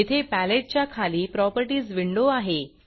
येथे paletteपॅलेट च्या खाली Propertiesप्रॉपर्टीज विंडो आहे